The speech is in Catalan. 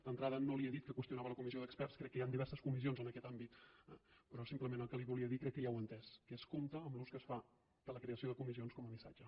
d’entrada no li he dit que qüestionava la comissió d’experts crec que hi han diverses comissions en aquest àmbit eh però simplement el que li volia dir crec que ja ho ha entès que és compte amb l’ús que es fa de la creació de comissions com a missatge